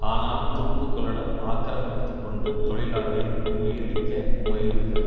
ஆனால் துருப்புக்களுடன் ஆக்கிரமித்துக்கொண்டு தொழிலாளர்களை முறியடிக்க முயல்வது